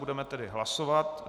Budeme tedy hlasovat.